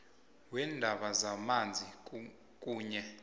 weendaba zamanzi kunye